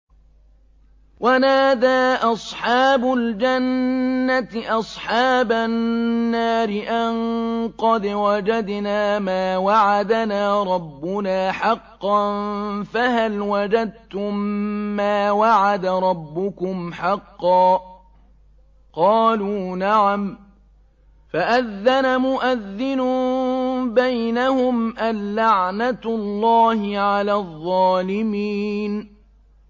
وَنَادَىٰ أَصْحَابُ الْجَنَّةِ أَصْحَابَ النَّارِ أَن قَدْ وَجَدْنَا مَا وَعَدَنَا رَبُّنَا حَقًّا فَهَلْ وَجَدتُّم مَّا وَعَدَ رَبُّكُمْ حَقًّا ۖ قَالُوا نَعَمْ ۚ فَأَذَّنَ مُؤَذِّنٌ بَيْنَهُمْ أَن لَّعْنَةُ اللَّهِ عَلَى الظَّالِمِينَ